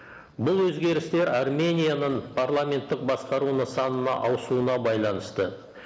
бұл өзгерістер арменияның парламенттік басқару нысанына ауысуына байланысты